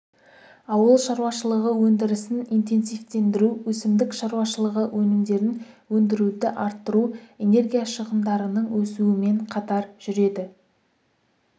ауыл шаруашылығы өндірісін интенсивтендіру өсімдік шаруашылығы өнімдерін өндіруді арттыру энергия шығындарының өсуімен қатар жүреді